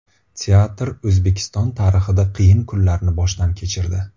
Teatr O‘zbekiston tarixida qiyin kunlarni boshdan kechirdi.